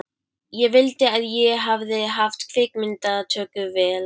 Ég vildi að ég hefði haft kvikmyndatökuvél.